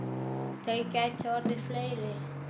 Þeir gætu orðið fleiri.